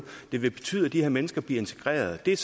det vil betyde at de her mennesker bliver integreret det er